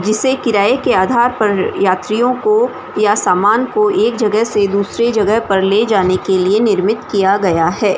जिसे किराए के आधार पर यात्रियों को या समान को एक जगह से दूसरे जगह पे ले जाने के लिए निर्मित किया गया है।